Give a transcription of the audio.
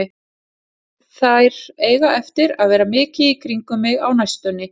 Þær eiga eftir að vera mikið í kringum mig á næstunni.